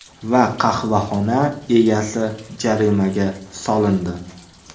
Va qahvaxona egasi jarimaga solindi.